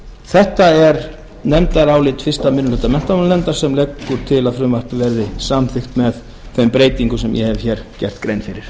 þetta er nefndarálit fyrsti minni hluta menntamálanefndar sem leggur til að frumvarpið verði samþykkt með þeim breytingum sem ég hef gert grein fyrir